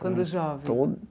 Quando jovem?